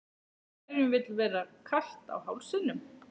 Hverjum vill vera kalt á hálsinum?